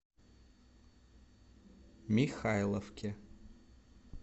михайловке